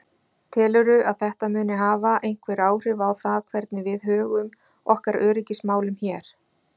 Telurðu að þetta muni hafa einhver áhrif á það hvernig við högum okkar öryggismálum hér?